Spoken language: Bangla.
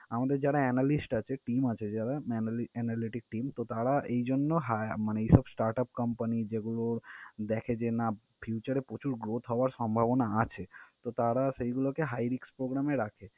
আমাদের যারা analyst আছে, team আছে যারা analy~ analytic team তো তারা এই জন্য hi মানে এইসব startup company যেগুলোর দেখে যে না future এ প্রচুর growth হওয়ার সম্ভবনা আছে, তো তারা সেই গুলোকে high risk program এ রাখে।